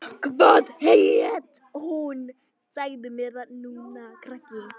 Hvað hét hún?